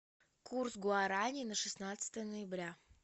курс гуарани на шестнадцатое ноября